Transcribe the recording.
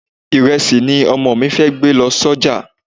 Ìrẹsì ni Ọmọ mi fẹ́ gbé lọ sọ́jà.